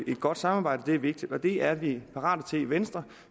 et godt samarbejde er vigtigt og det er vi parate til i venstre